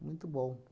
Muito bom.